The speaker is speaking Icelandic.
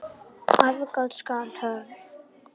Aðgát skal höfð.